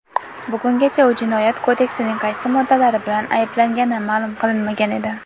bugungacha u jinoyat kodeksining qaysi moddalari bilan ayblangani ma’lum qilinmagan edi.